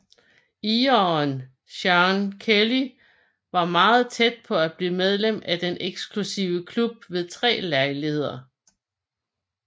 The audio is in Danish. Ireren Seán Kelly var meget tæt på at blive medlem af den eksklusive klub ved tre lejligheder